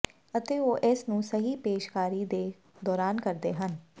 ਅਤੇ ਉਹ ਇਸ ਨੂੰ ਸਹੀ ਪੇਸ਼ਕਾਰੀ ਦੇ ਦੌਰਾਨ ਕਰਦੇ ਹਨ